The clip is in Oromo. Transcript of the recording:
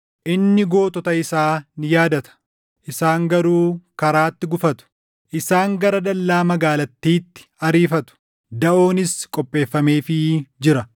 Inni gootota isaa ni yaadata; isaan garuu karaatti gufatu. Isaan gara dallaa magaalattiitti ariifatu; daʼoonis qopheeffameefii jira.